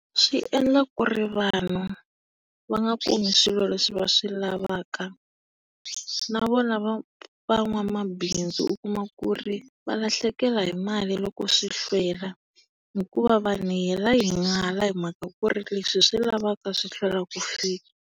Swi endla ku ri vanhu va nga kumi swilo leswi va swi lavaka. Navona va van'wamabindzu u kuma ku ri va lahlekela hi mali loko swi hlwela. Hikuva vanhu hi hela hi n'ala hi mhaka ku ri leswi hi swi lavaka swi hlwela ku fika.